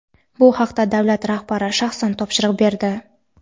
Bu haqda davlat rahbari shaxsan topshiriq berdi.